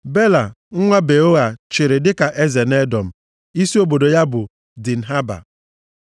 Bela, nwa Beoa chịrị dịka eze nʼEdọm. Isi obodo ya bụ Dinhaba.